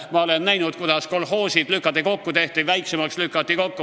Ma olen näinud, kuidas kolhoosid lükati kokku, siis tehti väiksemaks ja siis lükati kokku.